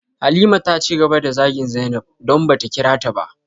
Halima taci gaba da zagin zainab, don bata kirata ba.